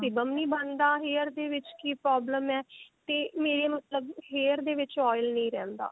sebum ਨਹੀਂ ਬਣਦਾ hair ਦੇ ਵਿੱਚ ਕੀ problem ਹੈ ਤੇ ਮੇਰੇ ਮਤਲਬ hair ਦੇ ਵਿੱਚ oil ਨਹੀਂ ਰਹਿੰਦਾ